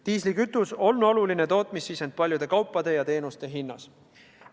Diislikütus on oluline tootmissisend paljude kaupade ja teenuste hinnas.